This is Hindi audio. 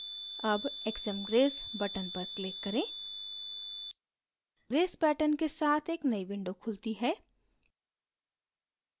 अब xmgrace button पर click करें grace pattern के साथ एक नयी window खुलती है